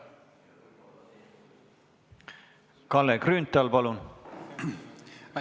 Kalle Grünthal, palun!